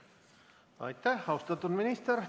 Aitäh, austatud minister!